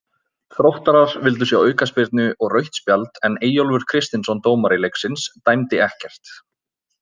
Þróttarar vildu sjá aukaspyrnu og rautt spjald en Eyjólfur Kristinsson dómari leiksins dæmdi ekkert.